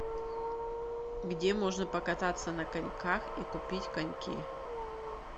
где можно покататься на коньках и купить коньки